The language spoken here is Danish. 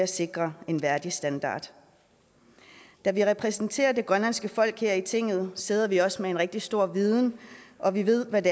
sikre en værdig standard da vi repræsenterer det grønlandske folk her i tinget sidder vi også med en rigtig stor viden og vi ved hvad